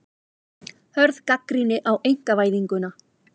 Hörð gagnrýni á einkavæðinguna